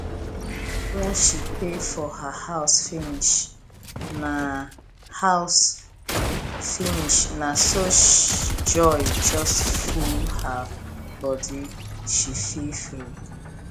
when she pay for her house finish na house finish na so joy just full her bodyshe feel free